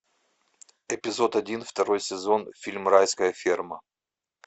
эпизод один второй сезон фильм райская ферма